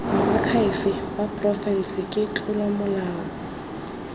moakhaefe wa porofense ke tlolomolao